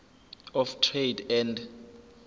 of trade and